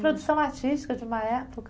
Produção artística de uma época.